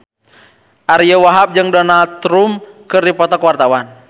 Ariyo Wahab jeung Donald Trump keur dipoto ku wartawan